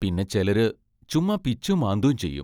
പിന്നെ ചെലര് ചുമ്മാ പിച്ചും മാന്തും ചെയ്യും.